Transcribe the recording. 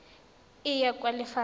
e ya kwa lefapha la